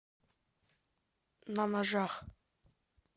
на ножах